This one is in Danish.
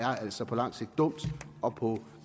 er altså på lang sigt dumt og på